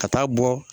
Ka taa bɔ